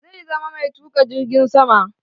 Zai zama mai tuka jirgin sama.